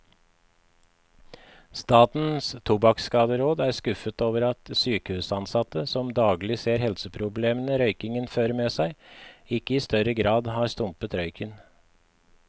Statens tobakkskaderåd er skuffet over at sykehusansatte, som daglig ser helseproblemene røykingen fører med seg, ikke i større grad har stumpet røyken.